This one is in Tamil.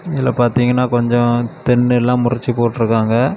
இதுல பாத்தீங்கன்னா கொஞ்ச தென்ன எல்லா முறிச்சு போட்ருக்காங்க.